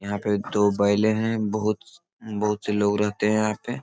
यहाँ पे दो बैले है। बहुत स बहुत से लोग रहते है यहाँ पे।